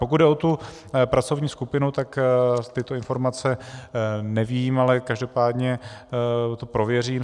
Pokud jde o tu pracovní skupinu, tak tyto informace nevím, ale každopádně to prověřím.